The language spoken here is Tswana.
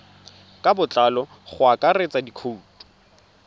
ka botlalo go akaretsa dikhoutu